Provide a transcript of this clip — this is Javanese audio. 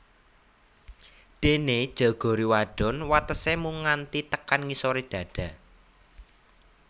Dene jeogori wadon watese mung nganti tekan ngisore dada